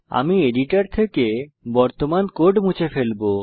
আমি এডিটর থেকে বর্তমান কোড মুছে দেবো